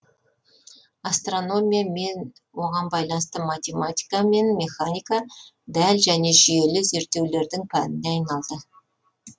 астрономия мен оған байланысты математика мен механика дәл және жүйелі зерттеулердің пәніне айналды